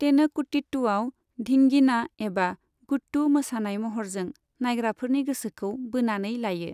तेनकुटीट्टुआव 'धींगिना' एबा 'गुट्टू' मोसानाय महरजों नायग्राफोरनि गोसोखौ बोनानै लायो।